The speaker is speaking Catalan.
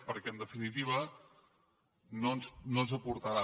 perquè en definitiva no ens aportarà